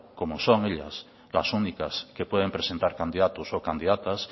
como son ellas las únicas que pueden presentar candidatos o candidatas